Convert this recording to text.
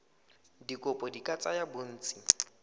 dikopo di ka tsaya bontsi